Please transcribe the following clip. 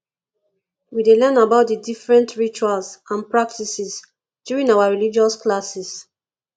we dey learn about the different rituals and practices during our religious classes